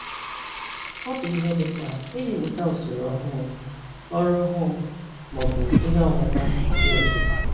Ọ bụ ihe dị mkpa iji mụta usoro ọhụụ, ọrụ ọhụụ, ma ọ bụ ihe ọmụma ndị ọzọ.